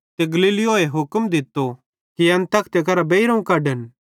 ते गल्लियो हुक्म दित्तो कि एन तखते करां बेइरोवं कढे